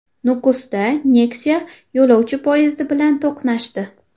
Nukusda Nexia yo‘lovchi poyezdi bilan to‘qnashdi .